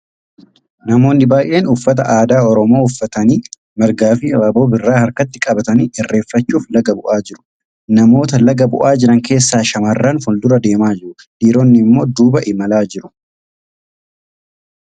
Namoonni baay'een uffata aadaa Oromoo uffatanii margaaa fi abaaboo birraa harkatti baatanii irreeffachuuf laga bu'aa jiru. Namoita laga bu'aa jiran keessaa shamarran fuuldura deemaa jiru. Dhiironni immoo duuba imalaa jiru.